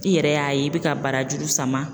I yɛrɛ y'a ye i bɛ ka barajuru sama